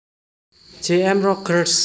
J M Rogers